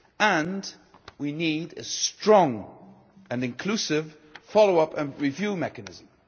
And we need a strong and inclusive follow up and review mechanism.